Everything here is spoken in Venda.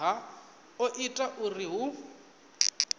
ha o ita uri hu